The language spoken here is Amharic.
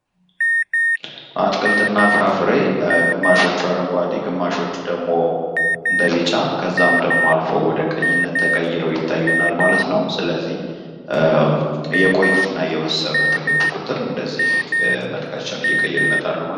አትክልት እና ፍራፍሬ ግማሾቹ አረንጓዴ ግማሾቹ ደሞ እንደ ቢጫ ከዛም አልፎ ወደ ቀይነት ተቀይረው ይታያሉ ማለት ነው ስለዚህ እየቆዩ እና እየበሰሉ በሄዱ ቁጥር እንደዚህ መልካቸዉን እየቀየሩ ይመጣሉ ማለት ነው።